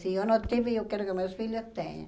Se eu não tive, eu quero que meus filhos tenham.